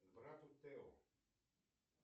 к брату тео